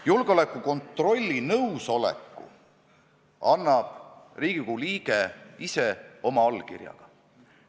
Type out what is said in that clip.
Julgeolekukontrolli nõusoleku annab Riigikogu liige ise oma allkirjaga.